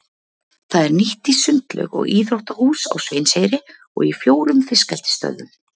Það er nýtt í sundlaug og íþróttahús á Sveinseyri og í fjórum fiskeldisstöðvum.